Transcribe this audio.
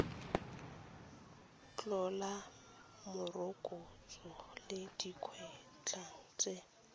tlhola morokotso le dikwatlhao tse